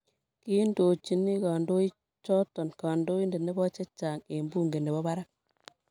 kiindochini kandoichoto kandoindet nebo chechang eng bunke nebo barak